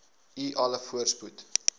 u alle voorspoed